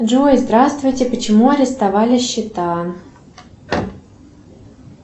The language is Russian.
джой здравствуйте почему арестовали счета